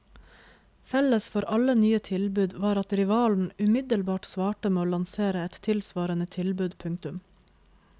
Felles for alle nye tilbud var at rivalen umiddelbart svarte med å lansere et tilsvarende tilbud. punktum